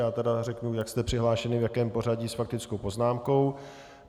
Já tedy řeknu, jak jste přihlášeni, v jakém pořadí, s faktickou poznámkou.